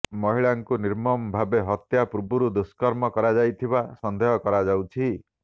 ମହିଳାଙ୍କୁ ନିର୍ମମ ଭାବେ ହତ୍ୟା ପୂର୍ବରୁ ଦୁଷ୍କର୍ମ କରାଯାଇଥିବା ସନ୍ଦେହ କରାଯାଉଛି